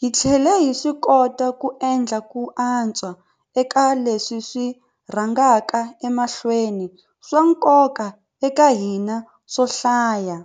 hi tlhele hi swikota ku endla ku antswa eka leswi swi rhangaka emahlweni swa nkoka eka hina swo hlaya.